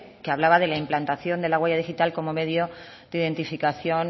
que hablaba de la implantación de la huella digital como medio de identificación